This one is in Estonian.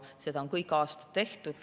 Seda on aastaid tehtud.